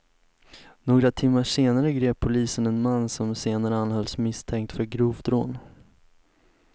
Några timmar senare grep polisen en man som senare anhölls misstänkt för grovt rån.